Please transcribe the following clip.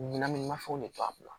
Ɲinɛ mafɛnw de don a kun na